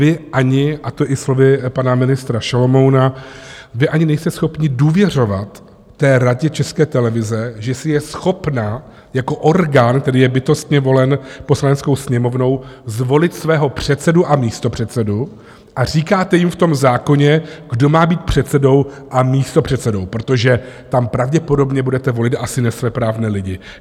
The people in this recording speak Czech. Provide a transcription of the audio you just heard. Vy ani, a to i slovy pana ministra Šalomouna, vy ani nejste schopni důvěřovat té Radě České televize, že si je schopna jako orgán, který je bytostně volen Poslaneckou sněmovnou, zvolit svého předsedu a místopředsedou, a říkáte jim v tom zákoně, kdo má být předsedou a místopředsedou, protože tam pravděpodobně budete volit asi nesvéprávné lidi.